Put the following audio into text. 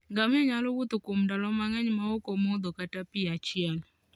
Ngamia nyalo wuotho kuom ndalo mang'eny maok omodho kata mana pi achiel.